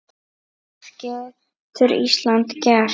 Hvað getur Ísland gert?